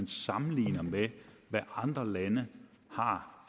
sammenligner med hvad andre lande har